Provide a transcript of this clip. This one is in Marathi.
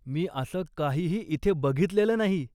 मी असं काहीही इथे बघितलेलं नाही.